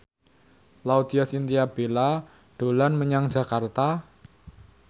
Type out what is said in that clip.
Laudya Chintya Bella dolan menyang Jakarta